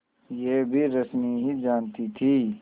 यह भी रश्मि ही जानती थी